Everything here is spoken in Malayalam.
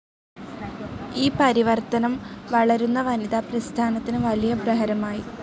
ഈ പരിവർത്തനം വളരുന്ന വനിതാ പ്രസ്ഥാനത്തിന് വലിയ പ്രഹരമായി.